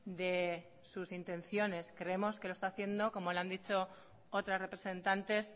de sus intenciones creemos que lo está haciendo como le han dicho otras representantes